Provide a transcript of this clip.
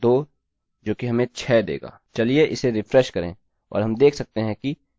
चलिए उसे रिफ्रेश करें और हम देख सकते हैं कि यह चला है